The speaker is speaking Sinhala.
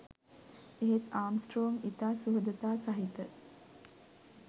එහෙත් ආම්ස්ට්‍රෝං ඉතා සුහදතා සහිත